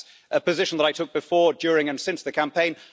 That's a position that I took before, during and since the campaign.